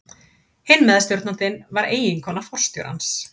Hinn meðstjórnandinn var eiginkona forstjórans.